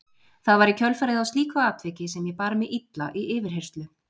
Það var í kjölfarið á slíku atviki sem ég bar mig illa í yfirheyrslu.